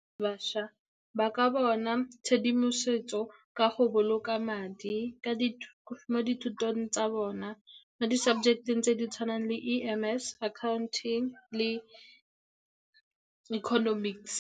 Bašwa ba ka bona tshedimosetso ka go boloka madi mo dithutong tsa bona mo di-subject-eng tse di tshwanang le E_M_S, Accounting le Economics.